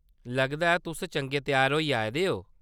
लगदा ऐ तुस चंगे त्यार होइयै आए दे ओ।